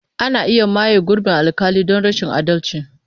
Ana iya maye gurbin alƙali don rashin adalci.